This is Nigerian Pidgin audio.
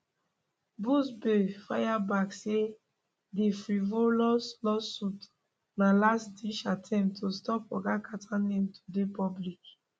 buzbee fire back say di frivolous lawsuit na lastditch attempt to stop oga carter name to dey public